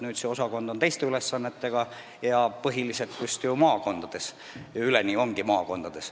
Nüüd on sellel osakonnal uued ülesanded ja selle töötajad on just maakondades.